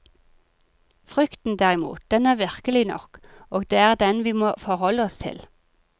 Frykten derimot, den er virkelig nok, og det er den vi må forholde oss til.